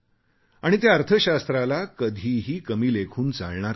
आणि त्या अर्थशास्त्राला कधीही कमी लेखून चालणार नाही